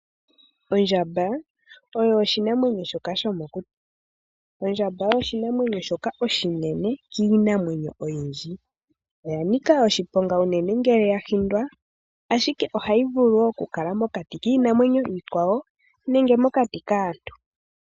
Ondjamba oyo oshinamwenyo shoka shomokuti. Ondjamba oyo oshinamwenyo shoka oshinene kiinamwenyo oyindji. Oya nika oshiponga unene ngele ya hindwa, ashike ohayi vulu okukala mokati kiinamwenyo iikwawo nenge mokati kaantu.